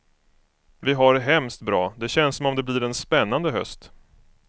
Vi har det hemskt bra, det känns som om det blir en spännande höst.